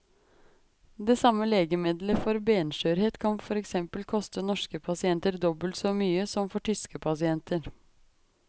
Det samme legemiddelet for benskjørhet kan for eksempel koste norske pasienter dobbelt så mye som for tyske pasienter.